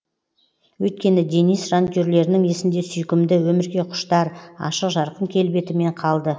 өйткені денис жанкүйерлерінің есінде сүйкімді өмірге құштар ашық жарқын келбетімен қалды